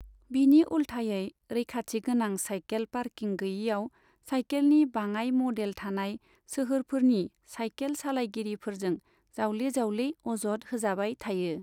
बिनि उल्थायै, रैखाथि गोनां साइखेल पार्किं गैयैआव साइखेलनि बाङाय मदेल थानाय सोहोरफोरनि साइखेल सालायगिरिफोरजों जावले जावले अजद होजाबाय थायो।